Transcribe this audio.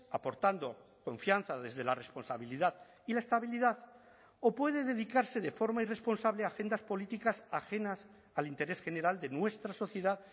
aportando confianza desde la responsabilidad y la estabilidad o puede dedicarse de forma irresponsable a agendas políticas ajenas al interés general de nuestra sociedad